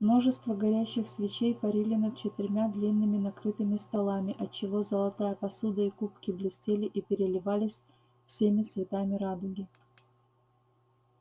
множество горящих свечей парили над четырьмя длинными накрытыми столами отчего золотая посуда и кубки блестели и переливались всеми цветами радуги